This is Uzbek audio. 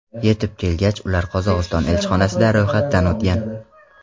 Yetib kelgach, ular Qozog‘iston elchixonasida ro‘yxatdan o‘tgan.